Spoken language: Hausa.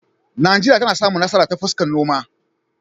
Najeriya ta samu nasara ta fuskar noma.